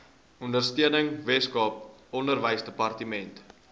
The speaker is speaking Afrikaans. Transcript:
ondersteuning weskaap onderwysdepartement